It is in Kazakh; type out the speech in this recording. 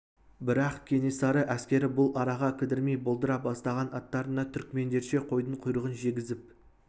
бірақ кенесары әскері бұл араға кідірмей болдыра бастаған аттарына түркмендерше қойдың құйрығын жегізіп